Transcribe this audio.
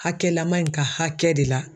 Hakɛlaman in ka hakɛ de la